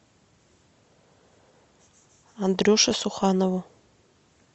андрюше суханову